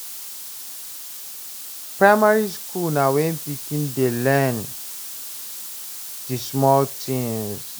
Primary school na when pikin dey learn di small things